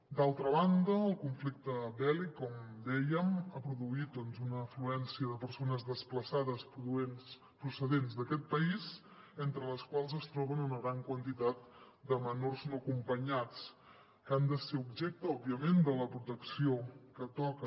d’altra banda el conflicte bèl·lic com dèiem ha produït doncs una afluència de persones desplaçades procedents d’aquest país entre les quals es troba una gran quantitat de menors no acompanyats que han de ser objecte òbviament de la protecció que toca